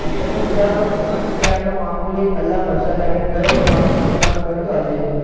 તમે વિચારો કે આટલો મામૂલી એક કલાક વરસાદ આયી ને ગયો તો આટલું નુકસાન કર્યું આજે